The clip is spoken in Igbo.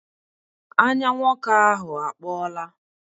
Anya nwoke ahụ akpọọla.